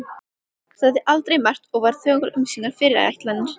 Sagði aldrei margt og var þögul um sínar fyrirætlanir.